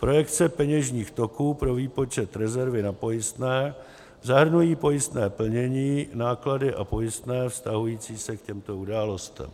Projekce peněžních toků pro výpočet rezervy na pojistné zahrnují pojistné plnění, náklady a pojistné vztahující se k těmto událostem.